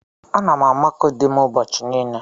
Ana m amakọ dim ụbọchị niile.